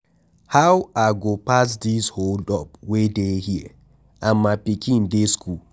How I go pass this hold up wey dey here and my pikin dey go school.